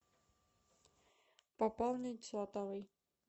пополнить сотовый